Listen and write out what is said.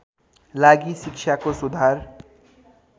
लागि शिक्षाको सुधार